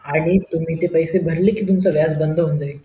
आणि तुम्ही ते पैसे भरले कि तुमचं व्याज बंद होऊन जाईल